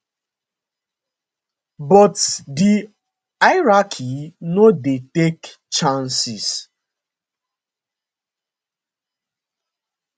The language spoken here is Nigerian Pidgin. but di hierarchy no dey take chances